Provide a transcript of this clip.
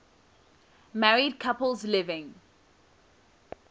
married couples living